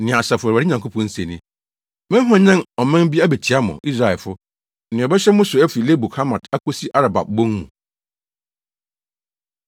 Nea Asafo Awurade Nyankopɔn se ni: “Mɛhwanyan ɔman bi abetia mo, Israelfo, nea ɔbɛhyɛ mo so afi Lebo Hamat akosi Araba bon mu.”